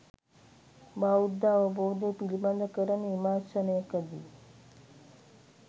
බෞද්ධ අවබෝධය පිළිබඳ කරන විමර්ශනයකදී